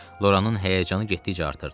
Loranın həyəcanı getdikcə artırdı.